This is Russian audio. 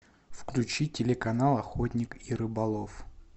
включи телеканал охотник и рыболов